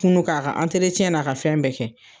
Kun no k'a ka na ka fɛn bɛɛ kɛ.